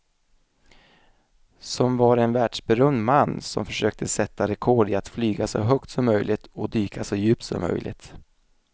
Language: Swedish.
Som var en världsberömd man som försökte sätta rekord i att flyga så högt som möjligt och dyka så djupt som möjligt.